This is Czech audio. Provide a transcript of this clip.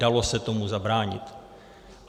Dalo se tomu zabránit.